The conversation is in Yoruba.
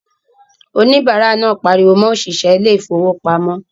Òníbárà náà pariwo mọ òṣìṣẹ́ ilé ìfowópamọ́